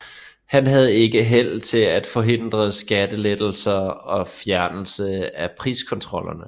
Han havde ikke held til at forhindre skattelettelser og fjernelse af priskontrollerne